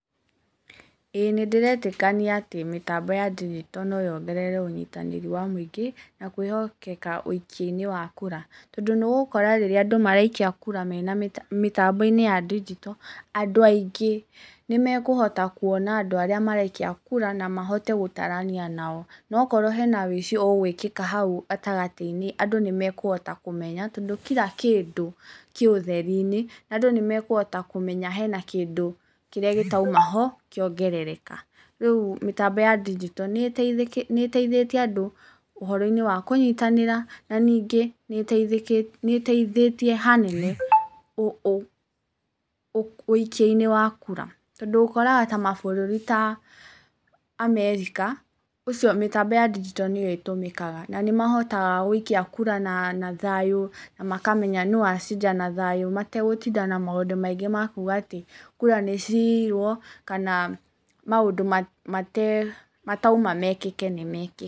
Ĩĩ nĩ ndĩretĩkania atĩ mĩtambo ya ndigito no yongerere ũnyitanĩri wa mũingĩ na kwĩhokeke ũikia-inĩ wa kura. Tondũ nĩ ũgũkora rĩrĩa andũ maraikia kura mena mĩtambo-inĩ ya ndigito, andũ aingĩ nĩ mekũhota kuona andũ arĩa maraikia kura na mahote gũtarania nao. Na okorwo hena ũici ũgwĩkĩka hau gatagatĩ-inĩ andũ nĩ mekũhota kũmenya tondũ kila kĩndũ kĩ ũtheri-inĩ. Andũ nĩ mekũhota kũmenya hena kĩrĩa gĩtauma ho kĩongerereka. Rĩu mĩtambo ya ndigito nĩ ĩteithĩtie andũ ũhoro-inĩ wa kũnyitanĩra na ningĩ nĩ ũteithĩtie hanene ũikia-inĩ wa kura. Tondũ ũkoraga ta mabũrũri ta America ũcio mĩtambo ya ndigito nĩyo ĩtũmĩkaga na nĩ mahotaga gũikia kura na thayũ, na makamenya nũ wacinda na thayũ. Mategũtinda na maũndũ maingĩ ma kuuga atĩ kura nĩ ciirwo kana maũndũ matauma mekĩke nĩ mekĩ...